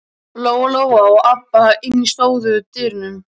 Lóa-Lóa og Abba hin stóðu í dyrunum.